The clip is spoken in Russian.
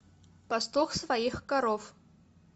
пастух своих коров